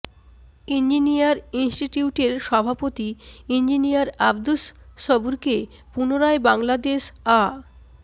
engineer ইনিষ্টিটিউটের সভাপতি engineer Abdus সবুরকে পুনরায় বাংলাদেশ আ